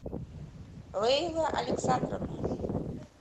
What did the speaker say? лейла александровна